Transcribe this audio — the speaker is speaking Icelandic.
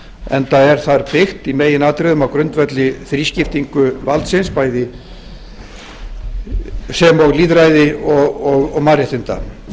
enda er þar byggt í meginatriðum á grundvelli þrískiptingu valdsins sem og lýðræði og mannréttinda